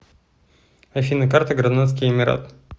афина карта гранадский эмират